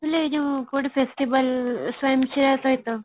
ଏ ଯୋଉ କୋଉଠି festival